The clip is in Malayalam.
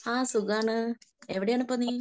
ആ സുഖമാണ്. എവിടെയാണ് ഇപ്പൊ നീ